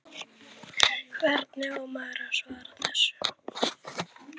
Hvernig á maður að svara þessu?